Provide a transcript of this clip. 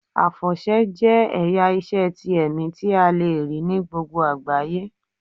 Àfọ̀ṣẹ jẹ́ ẹ̀yà ìṣe ti ẹ̀mí tí a le rí ní gbogbo àgbáyé.